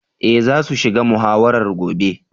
Eh za su shiga muhawarar gobe.